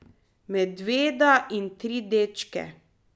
Medveda in tri dečke.